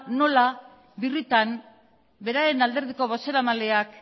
nola birritan beraren alderdiko bozeramaileak